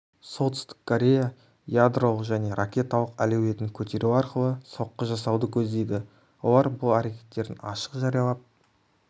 солтүстік корея ядролық және ракеталық әлеуетін көтеру арқылы соққы жасауды көздейді олар бұл әрекеттерін ашық жариялап